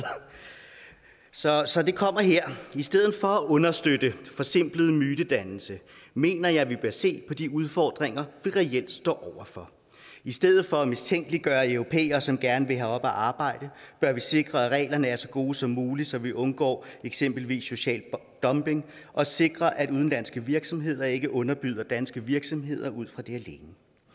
så så det kommer her i stedet for at understøtte forsimplet mytedannelse mener jeg vi bør se på de udfordringer vi reelt står over for i stedet for at mistænkeliggøre europæere som gerne vil herop og arbejde bør vi sikre at reglerne er så gode som muligt så vi undgår eksempelvis social dumping og sikrer at udenlandske virksomheder ikke underbyder danske virksomheder ud fra det